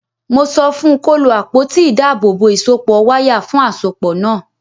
Mo sọ fun kó lo àpótí ìdábòòbò ìsọpọ̀ wáyà fún àsopọ̀ náà.